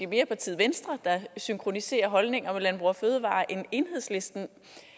mere partiet venstre der synkroniserer holdninger med landbrug fødevarer end enhedslisten